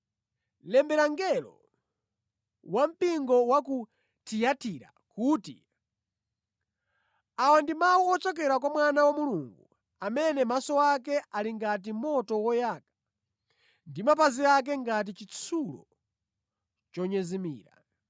“Lembera mngelo wampingo wa ku Tiyatira kuti: Awa ndi mawu ochokera kwa Mwana wa Mulungu, amene maso ake ali ngati moto woyaka ndi mapazi ake ngati chitsulo chonyezimira.